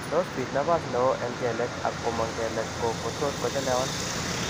Tot kobit napas neo en kelek ak komang' kelek ko tot kochelewan